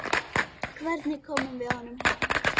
Hvernig komum við honum heim?